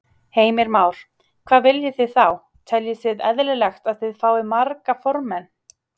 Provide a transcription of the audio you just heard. Heimir Már: Hvað viljið þið þá, teljið þið eðlilegt að þið fáið marga formenn?